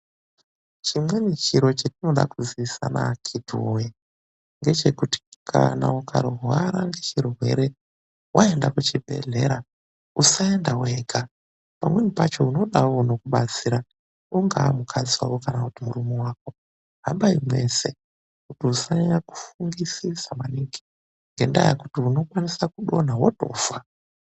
Chimweni chiro chatinoda kuziisana akhiti woye. Ngechekuti kana ukarwara ngechirwere waenda kuchibhedhlera usaenda wega. Pamweni pacho unodawo unokubatsira ungawa mukadzi wako kana murume wako hambai mwese kuti usanyanya kufungisisa maningi, ngendaa yekuti unokwanisa kudonha wotofa.